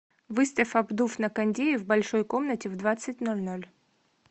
выставь обдув на кондее в большой комнате в двадцать ноль ноль